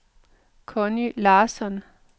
Conni Larsson